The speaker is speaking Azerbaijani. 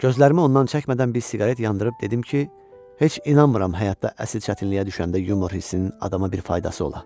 Gözlərimi ondan çəkmədən bir siqaret yandırıb dedim ki, heç inanmıram həyatda əsl çətinliyə düşəndə yumor hissinin adama bir faydası ola.